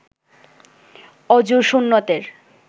অযুর সুন্নতের